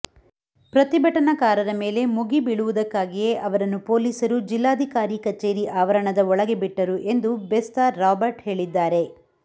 ಪ್ರತಿಭಟನಕಾರರ ಮೇಲೆ ಮುಗಿ ಬೀಳುವುದಕ್ಕಾಗಿಯೇ ಅವರನ್ನು ಪೊಲೀಸರು ಜಿಲ್ಲಾಧಿಕಾರಿ ಕಚೇರಿ ಆವರಣದ ಒಳಗೆ ಬಿಟ್ಟರು ಎಂದು ಬೆಸ್ತ ರಾಬರ್ಟ್ ಹೇಳಿದ್ದಾರೆ